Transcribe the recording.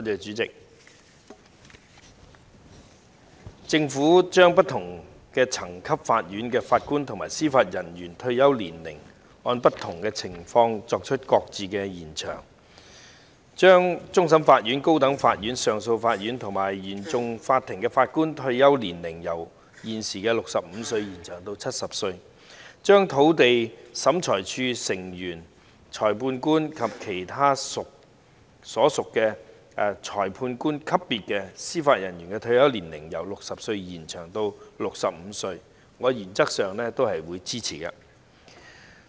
主席，政府將不同層級法院的法官及司法人員的退休年齡，按不同的情況予以延長，將終審法院、高等法院上訴法庭和原訟法庭的法官退休年齡由現時的65歲延長至70歲；並將土地審裁處成員、裁判官及其他屬裁判官級別的司法人員的退休年齡由60歲延長至65歲，我原則上是支持的。